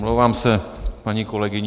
Omlouvám se paní kolegyni.